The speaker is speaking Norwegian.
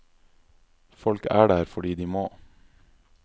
Folk er der fordi de må.